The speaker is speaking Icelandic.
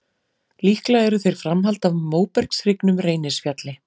Líklega eru þeir framhald af móbergshryggnum Reynisfjalli.